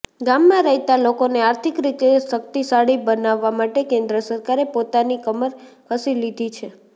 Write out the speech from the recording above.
ગામમા રહેતા લોકોને આર્થિક રીતે શક્તિશાળી બનાવવા માટે કેન્દ્ર સરકારે પોતાની કમર કસી લીધી છે